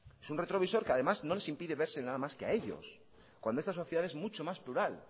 es un retrovisor que además no les impide verse nada más que a ellos cuando esta sociedad es mucho más plural